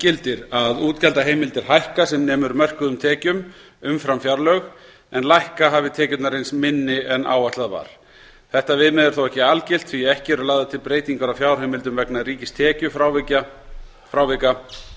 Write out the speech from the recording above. gildir að útgjaldaheimildir hækka sem nemur mörkuðum tekjum umfram fjárlög en lækka hafi tekjurnar reynst minni en áætlað var þetta viðmið er þó ekki algilt því ekki eru lagðar til breytingar á fjárheimildum vegna ríkistekjufrávika